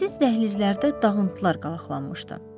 Səssiz dəhlizlərdə dağıntılar qalaqlanmışdı.